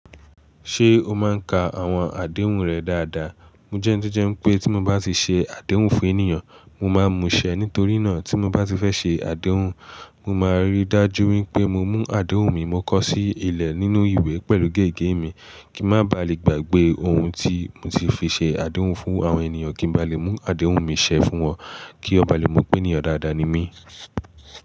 Ṣé o máa ń ka àwọn àdéhùn rẹ dáadáa? Mo jẹ́ndéjẹ́ pé tí mo bá ti ṣe àdéhùn fún ènìyàn, mo máa mú ṣẹ. Nítorí náà tí mo bá ti fẹ́ ṣe àdéhùn, mo máa ríi dájú wípé mo mú àdéhùn mi mọ́kọ́ sí ilẹ̀ nínú ìwé pẹ̀lú gègé mi kí ń má baà le gbàgbé ohun tí mo ti fi ṣe àdéhùn fún àwọn ènìyàn kí ń ba lè mú àdéhùn mi ṣẹ fún wọn kí wọ́n ba lè mọ̀ pé ènìyàn dáadáa ni mí.